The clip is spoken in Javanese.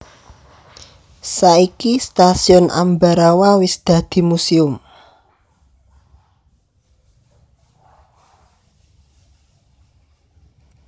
Saiki Stasiun Ambarawa wis dadi museum